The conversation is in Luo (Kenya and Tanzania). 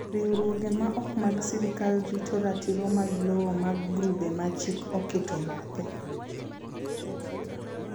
Riwruoge ma ok mag sirkal rito ratiro mag lowo mag grube ma chik oketo bathe.